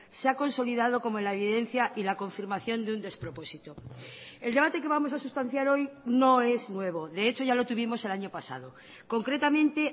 se ha consolidado como la evidencia y la confirmación de un despropósito el debate que vamos a sustanciar hoy no es nuevo de hecho ya lo tuvimos el año pasado concretamente